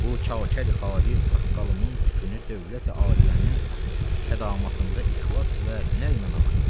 Bu çakər xalis saqqalımın tükünü dövlət-i aliyənin xədamatında ixlas və hünərlə ağırtmışam.